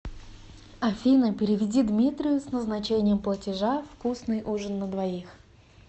афина переведи дмитрию с назначением платежа вкусный ужин на двоих